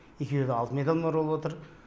екеуі де алтын медальмен оралып отыр